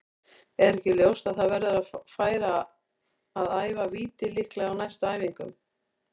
Er ekki ljóst að það verður að fara að æfa víti líka á næstu æfingum?